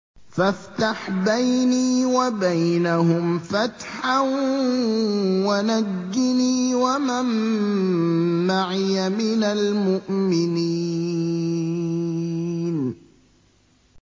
فَافْتَحْ بَيْنِي وَبَيْنَهُمْ فَتْحًا وَنَجِّنِي وَمَن مَّعِيَ مِنَ الْمُؤْمِنِينَ